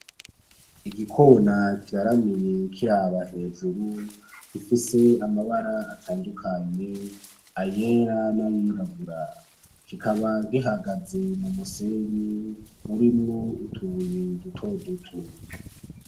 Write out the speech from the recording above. Igikona kiraramye kiraba hejuru gifise n'amabara atandukanye Ayer’s nayirabura kikaba gihagaze m’umusenyi urimwo utubuye duto duto.